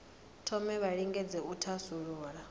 thome vha lingedze u thasulula